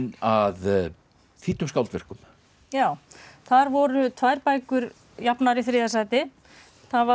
að þýddum skáldverkum já þar voru tvær bækur jafnar í þriðja sæti það var